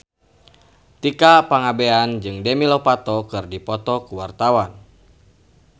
Tika Pangabean jeung Demi Lovato keur dipoto ku wartawan